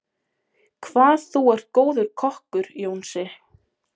Hvað þú er góður kokkur, Jónsi.